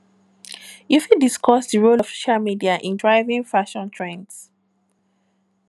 you fit discuss di role of social media in driving fashion trends